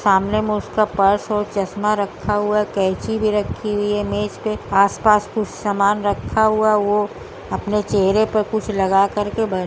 सामने में उसका पर्स और चसमा रखा हुआ हैं केयची भी रखी हुई है मेज पे। आस-पास कुछ समान रखा हुआ। वो अपने चेहरे पर कुछ लगा कर के बै --